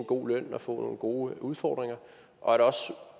god løn og få nogle gode udfordringer og at